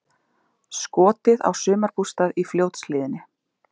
Skotið á sumarbústað í Fljótshlíðinni